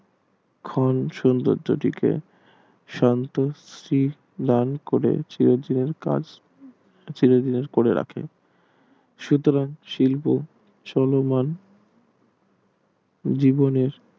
খান সৌন্দর্য টিকে শান্ত স্ত্রীর মান করে চির দিনের কাজ চির দিনের করে রাখে সুতরাং শিল্প চলমান জীবনের